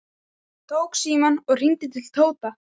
Hann tók símann og hringdi til Tóta.